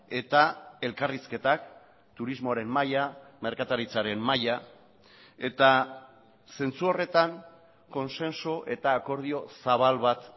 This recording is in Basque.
eta elkarrizketak turismoaren maila merkataritzaren maila eta zentzu horretan kontsensu eta akordio zabal bat